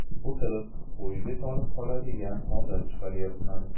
O‘tirib, o‘yga tolib qoladigan odat chiqarayapman.